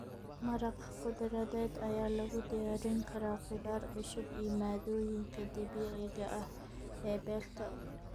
Maraq khudradeed ayaa lagu diyaarin karaa khudaar cusub iyo maaddooyinka dabiiciga ah ee beerta.